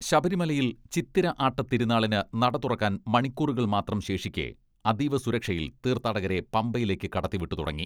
ശബരിമലയിൽ ചിത്തിര ആട്ടത്തിരുന്നാളിന് നട തുറക്കാൻ മണിക്കൂറുകൾ മാത്രം ശേഷിക്കെ അതീവ സുരക്ഷയിൽ തീർത്ഥാടകരെ പമ്പയിലേക്ക് കടത്തി വിട്ടു തുടങ്ങി.